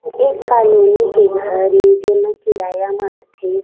एक कॉलोनी के घर हे जेमा किराया में रइथे। .